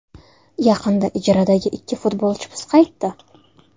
Yaqinda ijaradagi ikki futbolchimiz qaytdi.